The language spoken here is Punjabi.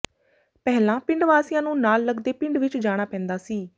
ਪਹਿਲਾਂ ਪਿੰਡ ਵਾਸੀਆਂ ਨੂੰ ਨਾਲ ਲਗਦੇ ਪਿੰਡ ਵਿੱਚ ਜਾਣਾ ਪੈਂਦਾ ਸੀ